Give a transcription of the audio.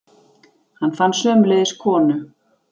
Hann fann sömuleiðis konu.